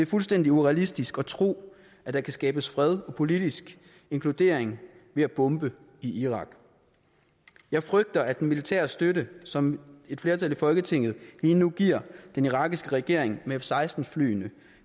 fuldstændig urealistisk at tro at der kan skabes fred og politisk inkludering ved at bombe i irak jeg frygter at den militære støtte som et flertal i folketinget lige nu giver den irakiske regering med f seksten flyene